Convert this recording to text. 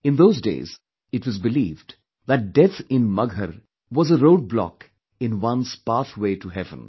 In those days it was believed that death in Maghar was a roadblock in one's pathway to heaven